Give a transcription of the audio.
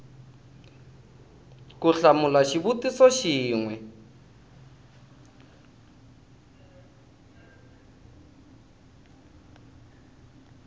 ku hlamula xivutiso xin we